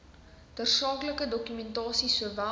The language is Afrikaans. tersaaklike dokumentasie sowel